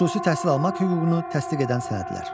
Xüsusi təhsil almaq hüququnu təsdiq edən sənədlər.